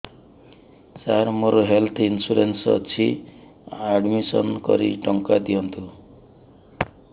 ସାର ମୋର health insurance ଅଛି admission କରି ଟଙ୍କା ଦିଅନ୍ତୁ